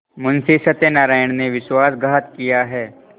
मुंशी सत्यनारायण ने विश्वासघात किया है